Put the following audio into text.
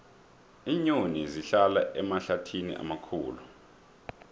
iinyoni zihlala emahlathini amakhulu